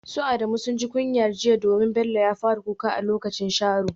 Su Adamu sun ji kunyar jiya domin Bello ya fara kuka a lokacin sharo.